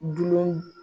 Dulon